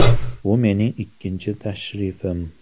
Bu mening ikkinchi tashrifim.